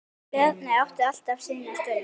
Bjarni átti alltaf sína stund.